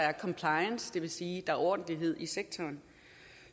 er compliance det vil sige at der er ordentlighed i sektoren